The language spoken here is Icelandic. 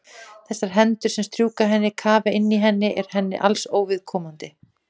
Þessar hendur sem strjúka henni, kafa inn í henni eru henni alls óviðkomandi.